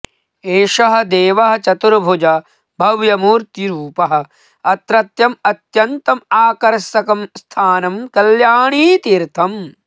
एषः देवः चतुर्भुजः भव्यमूर्तिरुपः अत्रत्यम् अत्यन्तम् आकर्षकं स्थानम् कल्याणीतीर्थम्